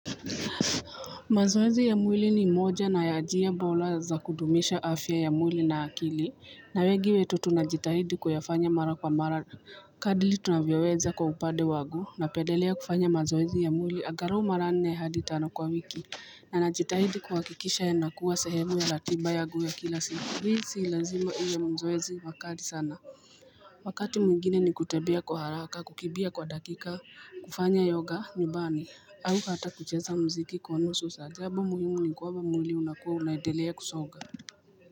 Mazoezi ya mwili ni moja na ya njia bora za kudumisha afya ya mwili na akili Na wengi wetu tunajitahidi kuyafanya mara kwa mara Kadili tunavyoweza kwa upande wangu napendelea kufanya mazoezi ya mwili angalau mara nne hadi tano kwa wiki Na najitahidi kuhakikisha nakuwa sehemu ya ratiba yangu ya kila siku Hizi lazima iwe mazoezi kali sana Wakati mwingine ni kutembea kwa haraka kukimbia kwa dakika kufanya yoga nyumbani au ata kucheza muziki kwa nusu saa jambo muhimu ni kuwa mwili unaendelea kusonga.